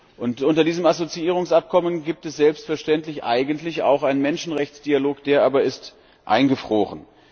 Und unter diesem Assoziierungsabkommen gibt es selbstverständlich eigentlich auch einen Menschenrechtsdialog. Der aber ist eingefroren.